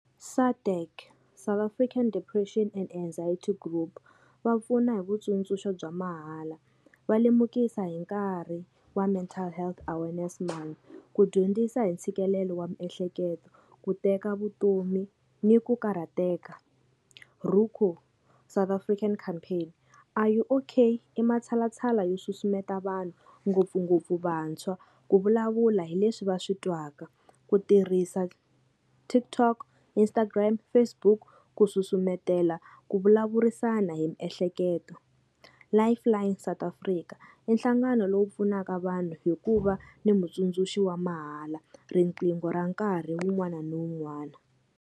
SADAG South African Depression and Anxiety Group va pfuna hi vutsundzuxo bya mahala va lemukisa hi nkarhi wa mental health awareness month ku dyondzisa hi ntshikelelo wa miehleketo ku teka vutomi ni ku karhateka South African Campaign Are You Okay i matshalatshala yo susumetela vanhu ngopfungopfu vantshwa ku vulavula hi leswi va swi twaka ku tirhisa TikTok Instagram Facebook ku susumetela ku vulavurisana hi miehleketo Life Line South Afrika i nhlangano lowu pfunaka vanhu hi ku va ni mutsundzuxi wa mahala riqingho ra nkarhi wun'wana na wun'wana.